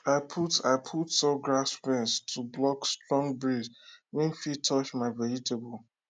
i put i put tall grass fence to block strong breeze wey fit touch my vegetable